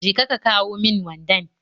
Je ka ka kawon mun wandan